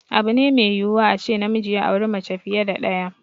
Abu ne mai yiwuwa a ce namiji ya auri mace fiye da ɗaya.